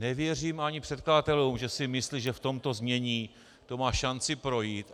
Nevěřím ani předkladatelům, že si myslí, že v tomto znění to má šanci projít.